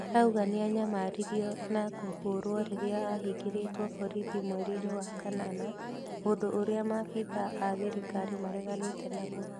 Arauga nĩanyamaririo na kũhũrwo rĩrĩa ahĩngĩrĩtwo borithi mweri-inĩ wa kanana, ũndũ ũrĩa maabithaa a thirikari mareganĩte naguo